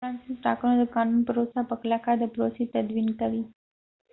د فرانسې د ټاکنو قانون پروسه په کلکه د پروسې تدوين کوي